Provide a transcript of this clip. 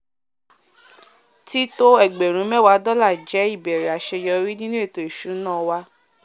tító ẹgbẹ̀rún méwà dọ́là jẹ̀ ìbẹ̀rẹ̀ àséyórí nínu ètò ìsúná wa